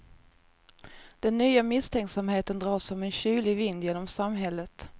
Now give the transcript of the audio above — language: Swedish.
Den nya misstänksamheten drar som en kylig vind genom samhället.